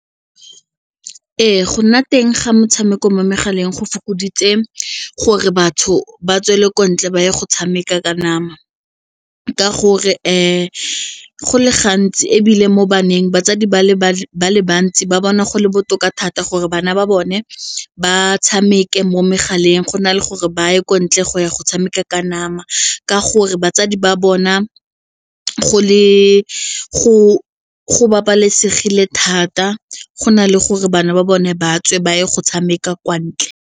Ee, go nna teng ga metshameko mo megaleng go fokoditse gore batho ba tswele ko ntle ba ye go tshameka ka nama ka gore go le gantsi ebile mo baneng batsadi ba bale ba le bantsi ba bona go le botoka thata gore bana ba bone ba tshameka mo megaleng go na le gore ba ye kwa ntle go ya go tshameka ka nama ka gore batsadi ba bona go babalesegile thata go na le gore bana ba bone ba tswe ba ye go tshameka kwa ntle.